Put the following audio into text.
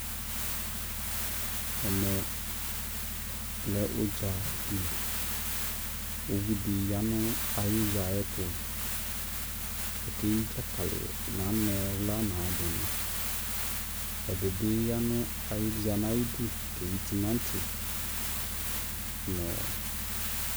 ɛmɛ lɛ ʋdzali kʋ ʋvi di yanʋ ayi ʋdza ayɛ tʋ kʋ ɔkɛyi dzakali nʋ anɛ wla nʋayia dini, ɛdibi yanʋ nʋ zanʋ ayidʋ kɛyi tʋmati nʋɔ